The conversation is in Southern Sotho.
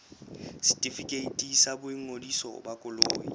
setefikeiti sa boingodiso ba koloi